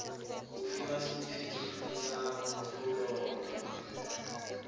go fiwa setefikeiti sa kgololo